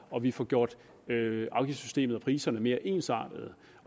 og vi får gjort afgiftssystemet enklere og priserne mere ensartede